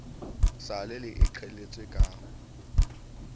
sa le e qheletswe ka